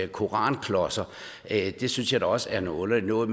koranklodser det synes jeg da også er noget underligt noget